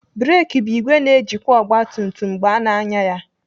Breki bụ ìgwè na-ejikwa ogbatumtum mgbe ana anya ya.